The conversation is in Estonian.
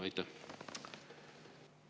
Aitäh!